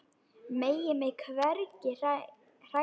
Megi mig hvergi hræra.